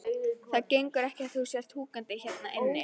Það gengur ekki að þú sért húkandi hérna inni.